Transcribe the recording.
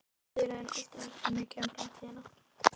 Ég hafði í rauninni aldrei hugsað mikið um framtíðina.